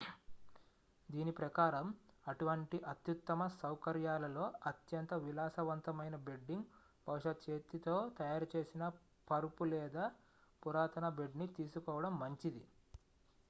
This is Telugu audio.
దీని ప్రకారం అటువంటి అత్యుత్తమ సౌకర్యాలలో అత్యంత విలాసవంతమైన బెడ్డింగ్ బహుశా చేతితో తయారు చేసిన పరుపు లేదా పురాతన బెడ్ ని తీసుకోవడం మంచిది